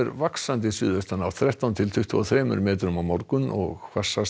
vaxandi suðaustanátt þrettán til tuttugu og þrír metrar á morgun og hvassast